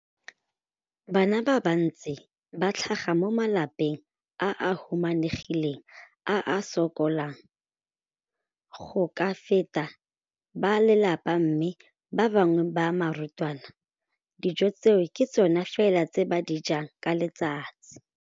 Bana ba le bantsi ba tlhaga mo malapeng a a humanegileng a a sokolang go ka fepa ba lelapa mme ba bangwe ba barutwana, dijo tseo ke tsona fela tse ba di jang ka letsatsi.